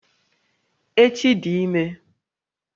Echi dị ímé